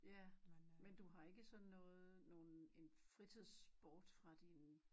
Ja men du har ikke sådan noget nogen en fritidsport fra din